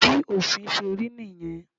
Bí òfin ṣe rí nìyẹn.